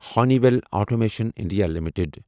honey well automation India limited